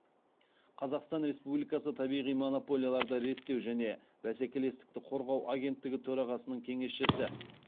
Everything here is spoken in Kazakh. қазақстан республикасы табиғи монополияларды реттеу және бәскелестікті қорғау агенттігі төрағасының кеңесшісі